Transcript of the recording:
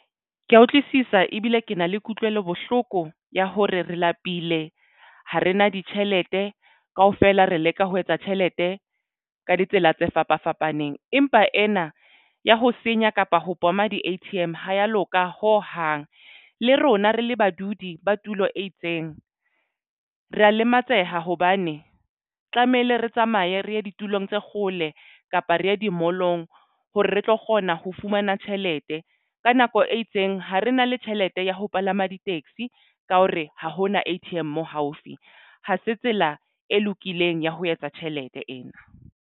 Ke ya utlwisisa ebile ke na le kutlwelo bohloko ya hore re lapile ha re na ditjhelete kaofela re leka ho etsa tjhelete ka ditsela tse fapa fapaneng empa ena ya ho senya kapa ho bhoma di-A_T_M ha ya loka ho hang. Le rona re le badudi ba tulo e itseng re ya lematseha hobane tlamehile re tsamaye re ye ditulong tse kgole kapa re ye di-mall-ong hore re tlo kgona ho fumana tjhelete ka nako e itseng ha re na le tjhelete ya ho palama di-taxi ka hore ha hona A_T_M moo haufi ha se tsela e lokileng ya ho etsa tjhelete ena.